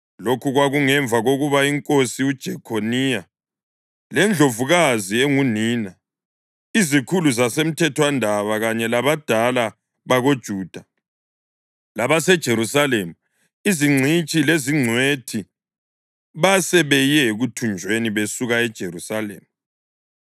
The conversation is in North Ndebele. (Lokhu kwakungemva kokuba inkosi uJekhoniya lendlovukazi engunina, izikhulu zasemthethwandaba kanye labadala bakoJuda labaseJerusalema, izingcitshi lezingcwethi basebeye ekuthunjweni besuka eJerusalema.)